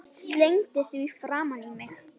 Slengdi því framan í hann.